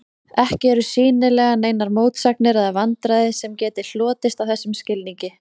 Ekki eru sýnilega neinar mótsagnir eða vandræði sem geti hlotist af þessum skilningi.